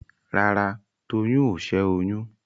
Rárá, Tolú ò ṣẹ́ oyún.